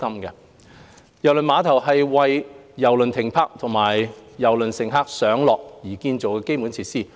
郵輪碼頭是為郵輪停泊和郵輪乘客上落建造的基建設施。